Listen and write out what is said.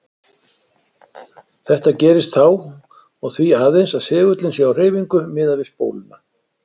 Þetta gerist þá og því aðeins að segullinn sé á hreyfingu miðað við spóluna.